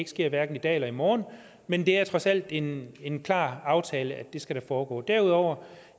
sker i dag eller i morgen men det er trods alt en en klar aftale at det skal foregå og derudover